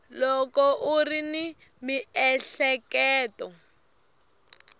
loko u ri ni miehleketo